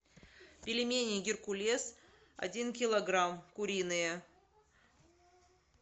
пельмени геркулес один килограмм куриные